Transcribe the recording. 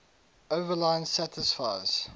overline satisfies